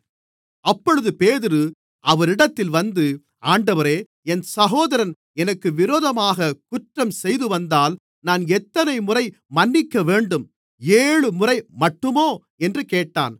அப்பொழுது பேதுரு அவரிடத்தில் வந்து ஆண்டவரே என் சகோதரன் எனக்கு விரோதமாகக் குற்றம் செய்துவந்தால் நான் எத்தனைமுறை மன்னிக்கவேண்டும் ஏழுமுறை மட்டுமோ என்று கேட்டான்